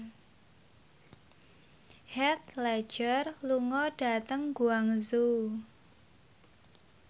Heath Ledger lunga dhateng Guangzhou